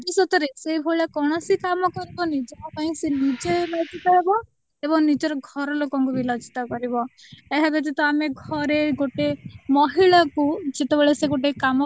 ଭବିଷ୍ୟତ ରେ ସେଇଭଳି କୌଣସି କାମ କରିବନି ଯାହାପାଇଁ ସିଏ ନିଜେ ଲଜ୍ଜିତ ହେବ ଏବଂ ନିଜ ଘର ଲୋକ ଙ୍କୁ ବି ଲଜ୍ଜିତ କରିବ ଏହା ବ୍ୟତୀତ ଆମେ ଘରେ ଗୋଟେ ମହିଳା କୁ ଯେତେବେଳେ ସିଏ ଗୋଟେ କାମ